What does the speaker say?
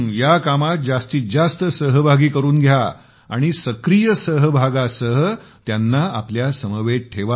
या कामात जास्तीत जास्त सहभागी करून घ्या आणि सक्रीय सहभागासह त्यांना आपल्या समवेत ठेवा